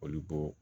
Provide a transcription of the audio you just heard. Olu bo